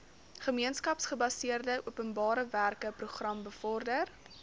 gemeenskapsgebaseerde openbarewerkeprogram bevorder